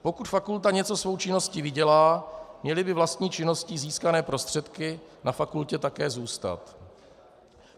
Pokud fakulta něco svou činností vydělá, měly by vlastní činností získané prostředky na fakultě také zůstat.